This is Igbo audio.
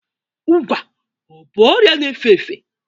Ụgwa ọ bụ ọrịa na-efe efe?